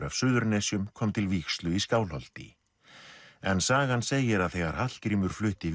af Suðurnesjum kom til vígslu í Skálholti en sagan segir að þegar Hallgrímur flutti